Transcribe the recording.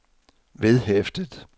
vedhæftet